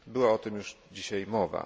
Była o tym już dzisiaj mowa.